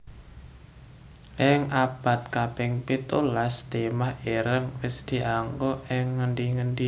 Ing abad kaping pitulas timah ireng wis dianggo ing ngendi endi